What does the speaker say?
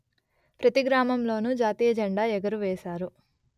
ప్రతిగ్రామంలోనూ జాతీయ జెండా ఎగురవేశారు